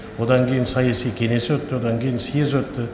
одан кейін саяси кеңес өтті одан кейін съезд өтті